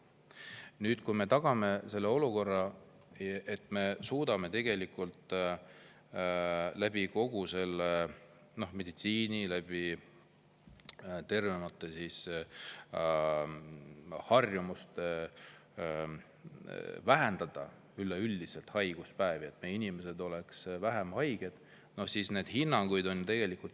Selle kohta, kui me olukorra, kus me suudame kogu meditsiini ja harjumuste abil vähendada üleüldiselt haiguspäevi ehk inimesed on vähem haiged, on erinevaid hinnanguid.